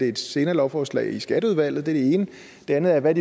et senere lovforslag i skatteudvalget det ene det andet er hvad